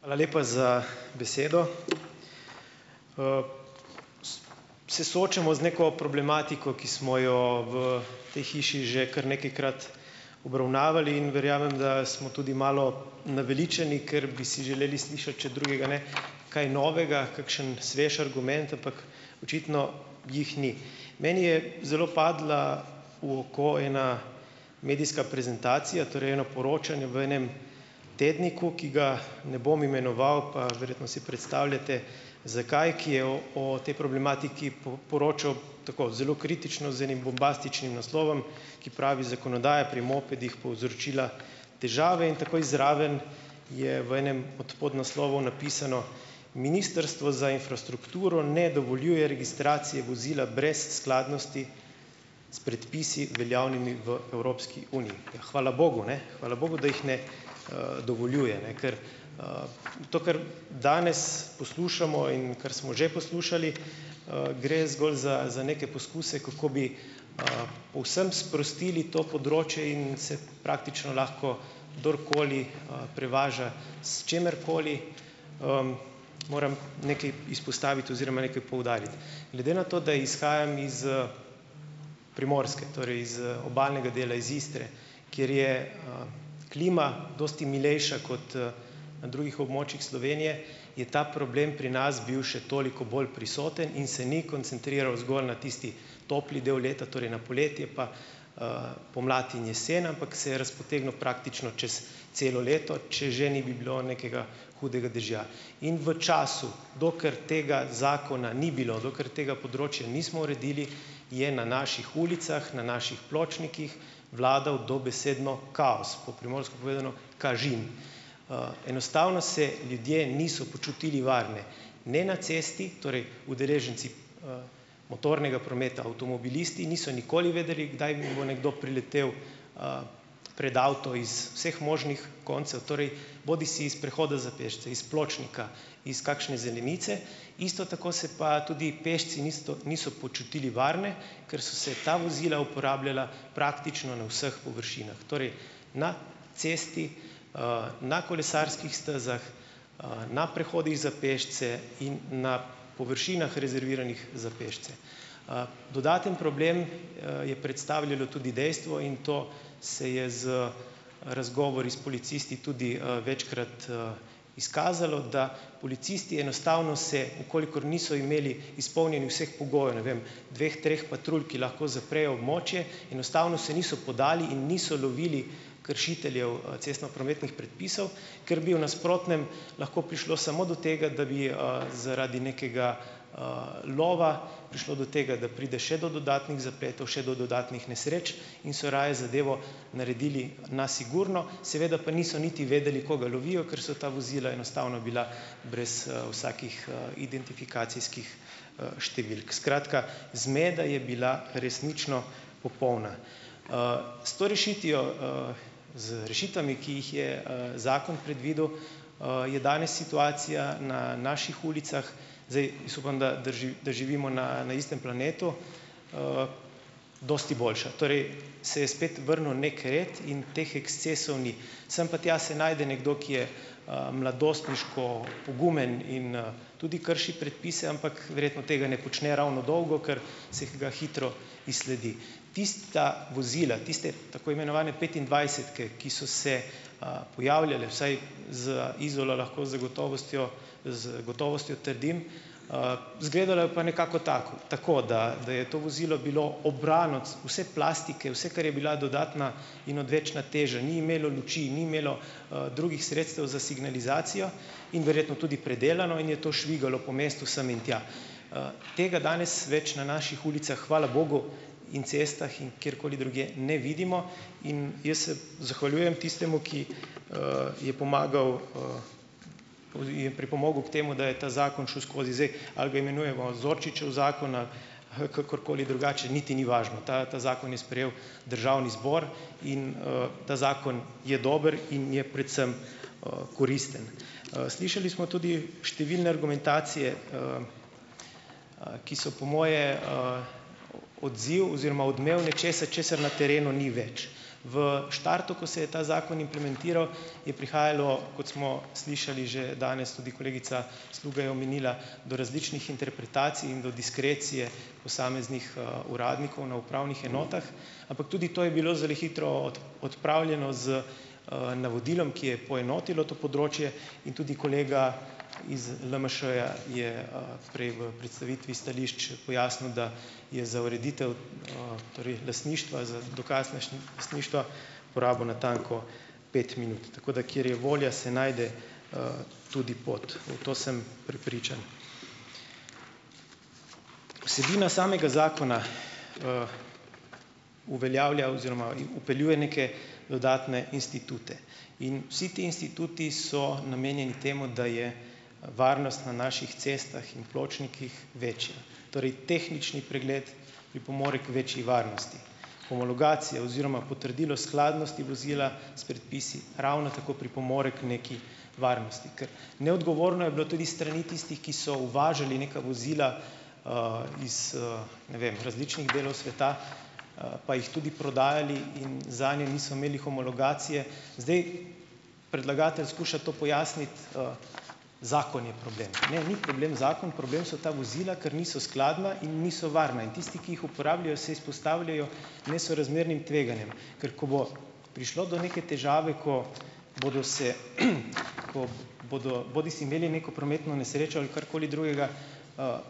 Hvala lepa za besedo. Se soočamo z neko problematiko, ki smo jo v tej hiši že kar nekajkrat obravnavali, in verjamem, da smo tudi malo naveličani, ker bi si želeli slišati, če drugega ne, kaj novega, kakšen svež argument, ampak očitno jih ni. Meni je zelo padla v oko ena medijska prezentacija, torej eno poročanje v enem tedniku, ki ga ne bom imenoval, pa verjetno si predstavljate, zakaj, ki je o o tej problematiki poročal tako zelo kritično z enim bombastičnim naslovom, ki pravi: "Zakonodaja pri mopedih povzročila težave," in takoj zraven je v enem od podnaslovov napisano: "Ministrstvo za infrastrukturo ne dovoljuje registracije vozila brez skladnosti s predpisi, veljavnimi v Evropski uniji." Ja, hvala bogu, ne, hvala bogu da jih ne, dovoljuje, ne, ker, to, kar danes poslušamo in kar smo že poslušali, gre zgolj za za neke poskuse, kako bi, povsem sprostili to področje in se praktično lahko kdorkoli, prevaža s čimerkoli. Moram nekaj izpostaviti oziroma nekaj poudariti. Glede na to, da izhajam iz, Primorske, torej iz obalnega dela, iz Istre, kjer je, klima dosti milejša kot, na drugih območjih Slovenije, je ta problem pri nas bil še toliko bolj prisoten in se ni koncentriral zgolj na tisti topli del leta, torej na poletje, pa, pomlad in jesen, ampak se je razpotegnil praktično čez celo leto, če že ni bi bilo nekega hudega dežja. In v času, dokler tega zakona ni bilo, dokler tega področja nismo uredili, je na naših ulicah na naših pločnikih vladal dobesedno kaos, po primorsko povedano, kažin. Enostavno se ljudje niso počutili varne ne na cesti, torej udeleženci, motornega prometa, avtomobilisti niso nikoli vedeli, kdaj mu bo nekdo priletel, pred avto iz vseh možnih koncev, torej bodisi iz prehoda za pešce, iz pločnika, iz kakšne zelenice. Isto tako se pa tudi pešci nisto niso počutili varne, ker so se ta vozila uporabljala praktično na vseh površinah. Torej, na cesti, na kolesarskih stezah, na prehodih za pešce in na površinah, rezerviranih za pešce. Dodaten problem, je predstavljalo tudi dejstvo, in to se je z razgovori s policisti tudi, večkrat, izkazalo, da policisti enostavno se, v kolikor niso imeli izpolnjenih vseh pogojev, ne vem, dveh, treh patrulj, ki lahko zaprejo območje, enostavno se niso podali in niso lovili kršiteljev, cestnoprometnih predpisov, ker bi v nasprotnem lahko prišlo samo do tega, da bi, zaradi nekega, lova prišlo do tega, da pride še do dodatnih zapletov, še do dodatnih nesreč in so raje zadevo naredili na sigurno. Seveda pa niso niti vedeli, koga lovijo, ker so ta vozila enostavno bila brez, vsakih, identifikacijskih, številk. Skratka, zmeda je bila resnično popolna. S to rešitvijo, z rešitvami, ki jih je, zakon predvidel, je danes situacija na naših ulicah - zdaj jaz upam, da da da živimo na na istem planetu - dosti boljša. Torej, se je spet vrnil neki red in teh ekscesov ni. Sem pa tja se najde nekdo, ki je, mladostniško pogumen in, tudi krši predpise, ampak verjetno tega ne počne ravno dolgo, ker se ga hitro izsledi. Tista vozila, tiste tako imenovane petindvajsetke, ki so se, pojavljale, vsaj za Izolo lahko zagotovostjo z gotovostjo trdim, izgledalo pa je nekako tako, tako da da je to vozilo bilo obrano vse plastike, vse, kar je bila dodatna in odvečna teža, ni imelo luči ni imelo, drugih sredstev za signalizacijo in verjetno tudi predelano in je to švigalo po mestu sem in tja. Tega danes več na naših ulicah, hvala bogu, in cestah in kjerkoli drugje ne vidimo in jaz se zahvaljujem tistemu, ki, je pomagal, je pripomogel k temu, da je ta zakon šel skozi. Zdaj, ali ga imenujemo Zorčičev zakon ali kakorkoli drugače, niti ni važno. Ta ta zakon je sprejel državni zbor in, ta zakon je dober in je predvsem, koristen. Slišali smo tudi številne argumentacije, ki so po moje, odziv oziroma odmev nečesa, česar na terenu ni več. V štartu, ko se je ta zakon implementiral, je prihajalo, kot smo slišali že danes, tudi kolegica Sluga je omenila, do različnih interpretacij in do diskrecije posameznih, uradnikov na upravnih enotah, ampak tudi to je bilo zdajle hitro odpravljeno z, navodilom, ki je poenotilo to področje in tudi kolega iz LMŠ-ja je, prej v predstavitvi stališč pojasnil, da je za ureditev, torej lastništva, za dokaz lastništva porabil natanko pet minut. Tako da, kjer je volja, se najde, tudi pot. V to sem prepričan. Vsebina samega zakona uveljavlja oziroma vpeljuje neke dodatne institute. In vsi ti instituti so namenjeni temu, da je varnost na naših cestah in pločnikih večja. Torej tehnični pregled pripomore k večji varnosti. Homologacija oziroma potrdilo skladnosti vozila s predpisi ravno tako pripomore k neki varnosti. Ker neodgovorno je bilo tudi s strani tistih, ki so uvažali neka vozila, iz, ne vem, različnih delov sveta, pa jih tudi prodajali, in zanje niso imeli homologacije. Zdaj, predlagatelj skuša to pojasniti, zakon je problem. Ne, ni problem zakon, problem so ta vozila, ker niso skladna in niso varna. In tisti, ki jih uporabljajo, se izpostavljajo nesorazmernim tveganjem, ker ko bo prišlo do neke težave, ko bodo se, ko bodo bodisi imeli neko prometno nesrečo ali karkoli drugega,